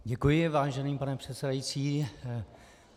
Děkuji, vážený pane předsedající.